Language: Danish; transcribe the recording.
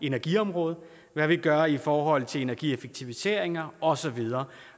energiområde og hvad vi gør i forhold til energieffektiviseringer og så videre